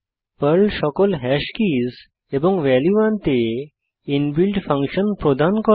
Perl সকল hash keys এবং value আনতে ইনবিল্ট ফাংশন প্রদান করে